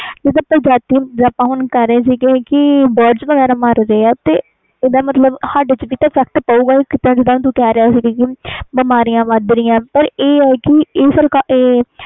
ਜਿੰਦਾ ਪ੍ਰਜਾਤੀ ਦੀ ਹੁਣ ਆਪਾ ਗੱਲ ਕਰ ਰਹੇ ਸੀ ਜਿਵੇ Birds ਵਗੈਰਾ ਮਰ ਰਹੇ ਆ ਇਹਦਾ ਮਤਬਲ ਸਾਡੇ ਤੇ ਵੀ effact ਪਾਓ ਗਏ ਜਿੰਦਾ ਤੂੰ ਬੋਲ ਰਹੇ ਸੀ ਕਿ ਬਿਮਾਰੀਆਂ ਵੱਧ ਰਹੀਆਂ ਆ ਪੈ ਇਹ ਆ ਕਿ